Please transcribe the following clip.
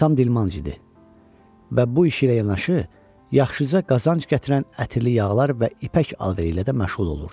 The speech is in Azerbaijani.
Atam dilmancı idi və bu iş ilə yanaşı yaxşıca qazanc gətirən ətirli yağlar və ipək alveri ilə də məşğul olurdu.